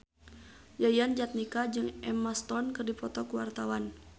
Yayan Jatnika jeung Emma Stone keur dipoto ku wartawan